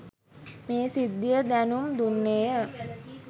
මේ සිද්ධිය දැනුම් දුන්නේය.